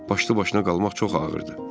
Başlı-başına qalmaq çox ağırdır.